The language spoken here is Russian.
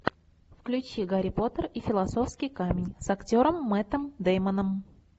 включи гарри поттер и философский камень с актером мэттом деймоном